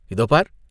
"இதோ பார்!